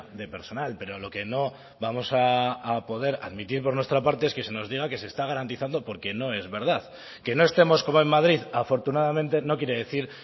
de personal pero lo que no vamos a poder admitir por nuestra parte es que se nos diga que se está garantizando porque no es verdad que no estemos como en madrid afortunadamente no quiere decir